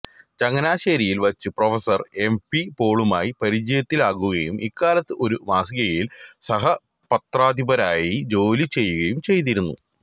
ചങ്ങനാശ്ശേരിയിൽ വച്ച് professor M P പോളുമായി പരിചയത്തിലാകുകയും ഇക്കാലത്ത് ഒരു മാസികയിൽ സഹപത്രാധിപരായി ജോലി ചെയ്യുകയും ചെയ്തിരുന്നു